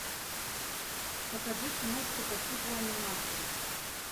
покажи киношку по типу анимации